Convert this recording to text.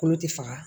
Kolo tɛ faga